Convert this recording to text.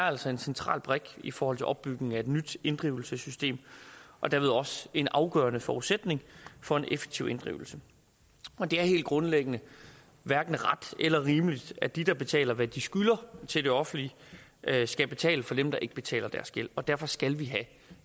altså en central brik i forhold til opbygningen af et nyt inddrivelsessystem og derved også en afgørende forudsætning for en effektiv inddrivelse det er helt grundlæggende hverken ret eller rimeligt at de der betaler hvad de skylder til det offentlige skal betale for dem der ikke betaler deres gæld derfor skal vi have